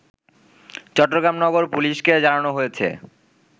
চট্টগ্রাম নগর পুলিশকে জানানো হয়েছে